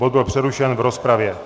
Bod byl přerušen v rozpravě.